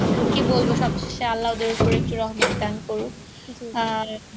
কি বলবো সবশেষ আল্লাহ দান করুক